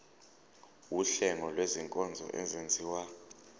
wuhlengo lwezinkonzo ezenziwa